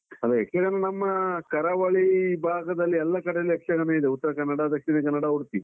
ಅದೆ ಯಕ್ಷಗಾನ ನಮ್ಮ ಕರಾವಳಿ ಭಾಗದಲ್ಲಿ ಎಲ್ಲ ಕಡೆಯಲ್ಲಿ ಯಕ್ಷಗಾನ ಇದೆ ಉತ್ತರ ಕನ್ನಡ, ದಕ್ಷಿಣ ಕನ್ನಡ, ಉಡುಪಿ.